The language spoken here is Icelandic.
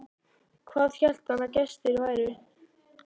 Hvað hélt hann að gestir væru?